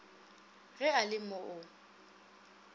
ge a le mo a